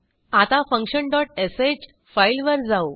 आता function dot sh फाईलवर जाऊ